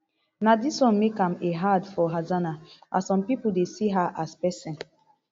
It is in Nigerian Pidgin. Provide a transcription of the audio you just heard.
na dis wan make am a hard for hassana as some pipo dey see her as pesin